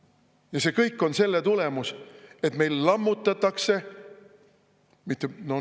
Ja see kõik on selle tulemus, et meil lammutatakse.